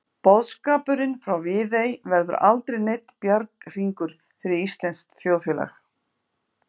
Boðskapurinn frá Viðey verður aldrei neinn bjarghringur fyrir íslenskt þjóðfélag.